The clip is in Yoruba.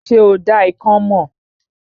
Ṣé o dá ikán mọ̀?